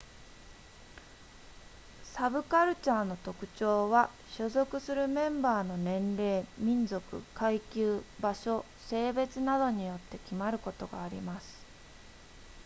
サブカルチャーの特徴は所属するメンバーの年齢民族階級場所性別などによって決まることがあります